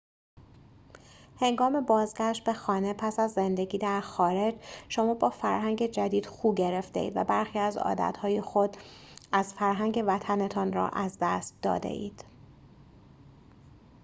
هنگام بازگشت به خانه پس از زندگی در خارج شما با فرهنگ جدید خو گرفته‌اید و برخی از عادت‌های خود از فرهنگ وطن‌تان را از دست داده‌اید